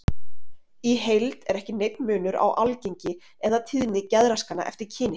Í heild er ekki neinn munur á algengi eða tíðni geðraskana eftir kyni.